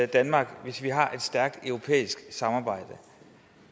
danmark hvis vi har et stærkt europæisk samarbejde